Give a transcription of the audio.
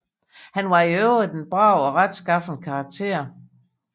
Han var i øvrigt en brav og retskaffen karakter